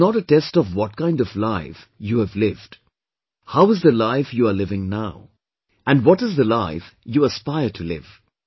It is not a test of what kind of life have you lived, how is the life you are living now and what is the life you aspire to live